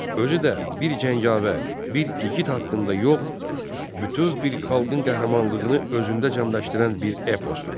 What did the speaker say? Özü də bir cəngavər, bir igid haqqında yox, bütöv bir xalqın qəhrəmanlığını özündə cəmləşdirən bir eposdur.